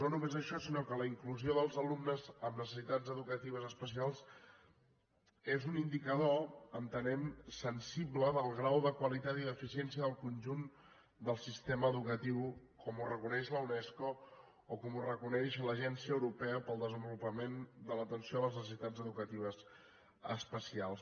no només això sinó que la inclusió dels alumnes amb necessitats educatives especials és un indicador entenem sensible del grau de qualitat i d’eficiència del conjunt del sistema educatiu com ho reconeix la unesco o com ho reconeix l’agència europea per al desenvolupament de l’atenció a les necessitats educatives especials